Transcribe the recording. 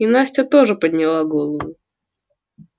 и настя тоже подняла голову